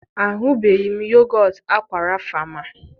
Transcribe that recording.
ahụbeghị m yogọt Aqua Rapha ma